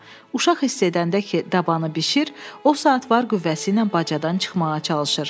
Uşaq hiss edəndə ki, dabanı bişir, o saat var qüvvəsi ilə bacadan çıxmağa çalışır.